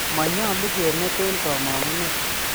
Monyolu kemeteen kamongunet.